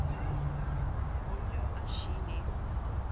go b yo a šiilego